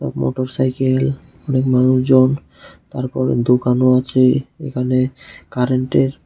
motorcycle অনেক মানুষজন তারপর দোকানও আছে এখানে কারেন্টের--